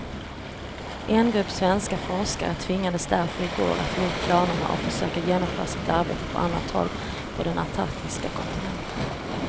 En grupp svenska forskare tvingades därför i går att ge upp planerna och försöka genomföra sitt arbete på annat håll på den antarktiska kontinenten.